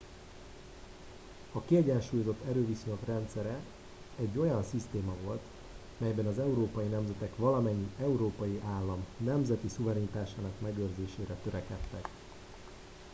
a kiegyensúlyozott erőviszonyok rendszere egy olyan szisztéma volt melyben az európai nemzetek valamennyi európai állam nemzeti szuverenitásának megőrzésére törekedtek